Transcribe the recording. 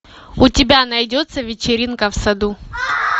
у тебя найдется вечеринка в саду